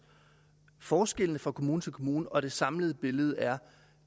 forskellene fra kommune til kommune og det samlede billede er